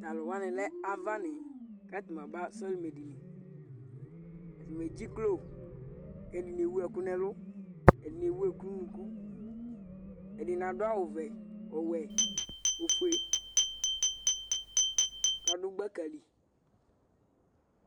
Tʋ alʋ wanɩ lɛ avanɩ kʋ atanɩ aba sɔlɩmɛdini Atanɩ edziklo kʋ ɛdɩnɩ ewu ɛkʋ nʋ ɛlʋ, ɛdɩnɩ ewu ɛkʋ nʋ unuku Ɛdɩnɩ adʋ awʋvɛ, ɔwɛ, ofue kʋ adʋ gbaka li